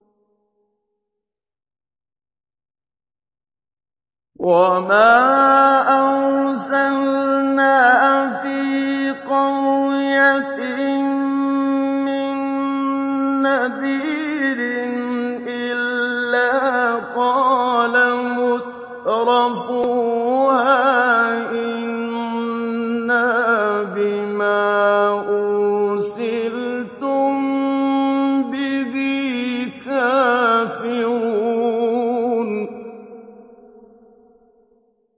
وَمَا أَرْسَلْنَا فِي قَرْيَةٍ مِّن نَّذِيرٍ إِلَّا قَالَ مُتْرَفُوهَا إِنَّا بِمَا أُرْسِلْتُم بِهِ كَافِرُونَ